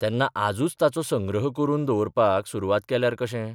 तेन्ना आजूच तांचो संग्रह करून दवरपाक सुरवात केल्यार कशें?